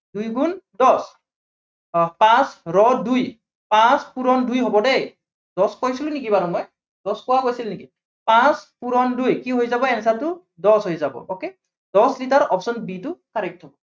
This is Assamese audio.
দুই গুণ দহ। আহ পাঁচ ৰ দুই, পাঁচ পূৰণ দুই হব দেই, দহ কৈছিলো নেকি বাৰু মই? , দহ কোৱা হৈছিল নেকি? পাঁচ পূৰণ দুই, কি হৈ যাব answer টো, দহ হৈ যাব okay দহ লিটাৰ option b টো correct হব।